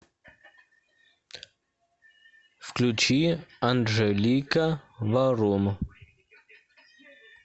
включи анджелика варум